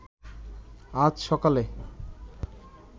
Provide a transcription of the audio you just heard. আজ সকালে